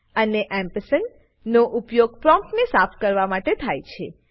અને AMP ampersand નો ઉપયોગ પ્રોમ્પ્ટને સાફ કરવા માટે થાય છે